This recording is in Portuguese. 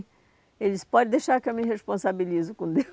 Ele disse, pode deixar que eu me responsabilizo com Deus.